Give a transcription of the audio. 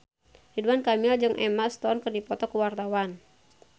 Ridwan Kamil jeung Emma Stone keur dipoto ku wartawan